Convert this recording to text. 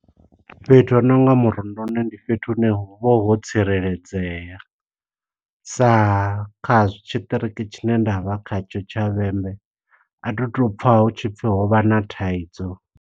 Fhethu ho nonga murunduni, ndi fhethu hune hu vha ho tsireledzea. Sa kha zwi tshiṱiriki tshine nda vha kha tsho tsha Vhembe, a thu tu pfa hu tshipfi ho vha na thaidzo.